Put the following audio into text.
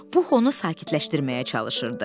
Pux onu sakitləşdirməyə çalışırdı.